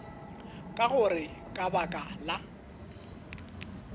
ka gore ka baka la